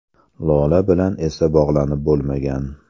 Lola bilan esa bog‘lanib bo‘lmagan.